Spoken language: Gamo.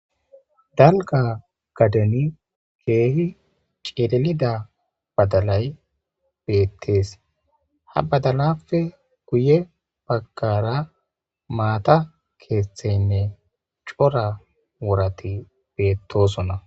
dalga gadani keehi ceedelida badalay beettees. ha badalafe guye baggara maata keeththeynne cora worati beettosonna